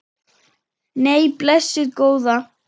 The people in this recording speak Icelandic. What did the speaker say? Nei, blessuð góða.